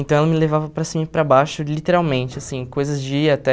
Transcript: Então, ela me levava para cima e para baixo, literalmente, assim, coisas de ir até...